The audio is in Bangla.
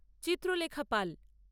চিত্র লেখা পাল